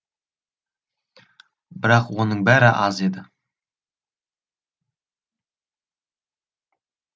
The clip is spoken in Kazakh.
бірақ оның бәрі аз еді